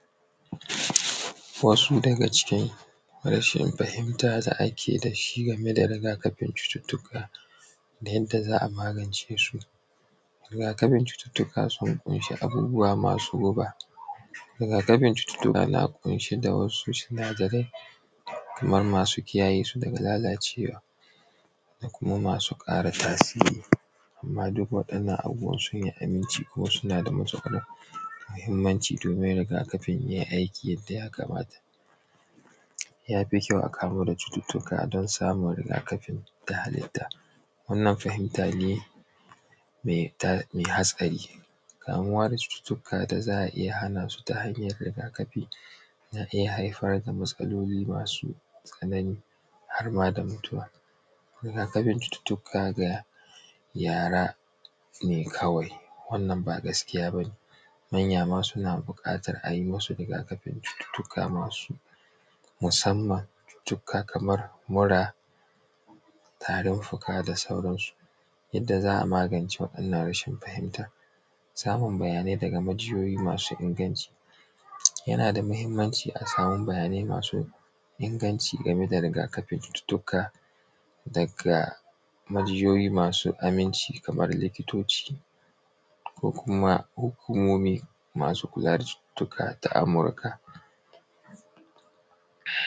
Wasu daga cikin rashin fahimta da ake dashi da rigakafin cututuka da yanda za a magancesu. Rigakafin cututuka sun kun shi abubuwa masu guba. Rigakafin cututuka na kunshe da wasu sinadarai kamar masu kiyayyesu daga lalacewa da kuma masu ƙara tasiri amma duk wadannan abubuwan su ne aminci kuma suna da matuƙar mahimmanci domin rigakafin ya yi aiki yadda ya kamata. Yafi kyau a ƙaro da cututuka don samun rigakafi ta hallita. Wannan fahimta ne mai hatsari. Kamuwa da cututuka da za a iya hana su ta hanyar rigakafi. Na ɗaya haifar da matsaloli masu tsanani harma da mutuwa, rigakafin cututuka ga yara ne kawai wannan ba gaskiya ba ne manyama suna buƙatan ayi rigakafin cututuka masu musamman cututuka kamar mura tarin fuka da sauransu. Yanda za a magance wa’innan rashin fahimta, samun bayanai daga majiyoyi masu inganci,, yana da muhimmancin a samu bayanai masu inganci game da rigakafin cututuka daga majiyoyi masu aminci kaman likitoci ko kuma hukumomi masu kula da cututuka na amurka.